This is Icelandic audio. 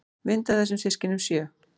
Mynd af þeim systkinunum sjö.